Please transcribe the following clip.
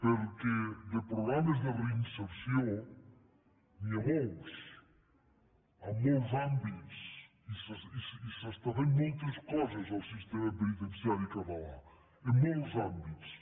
perquè de programes de reinserció n’hi ha molts en molts àmbits i s’estan fent moltes coses al sistema penitenciari català en molts àmbits